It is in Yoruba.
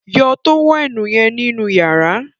yọ tówẹ́ẹ̀nù yen nínú yàrá